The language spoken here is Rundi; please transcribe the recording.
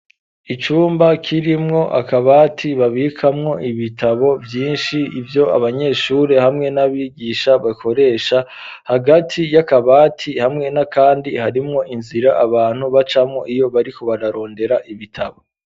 Icumba kirimwo akabati babikamwo ibitabo byinshi ibyo abanyeshuri hamwe n'abigisha bakoresha hagati y'akabati hamwe na kandi harimwo inzira abantu bacamwo iyo bari kubararondera ibitabo.